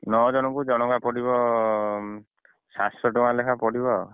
ନଅ ଜଣକଣୁ ଜଣକା ପଡିବ ସାତଶହ ଟକଣା ଲେଖା ପଡିବ ଆଉ